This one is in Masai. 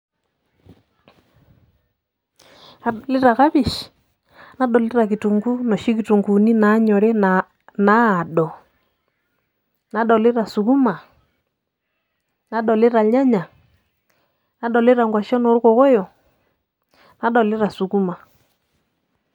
Adolita kapishi, nadolita kitunkuu noshi kitunkuuni nanyori naado, nadolita sukuma, nadolita irnyanya, nadolita nkwashen orkokoyo, nadolita sukuma.